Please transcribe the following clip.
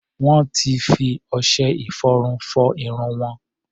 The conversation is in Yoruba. Wọ́n ti fi ọṣẹ-ìfọrun fọ irun wọn.